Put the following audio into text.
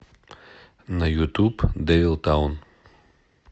на ютуб дэвил таун